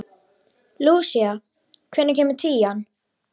Lúsía, hvenær kemur tían?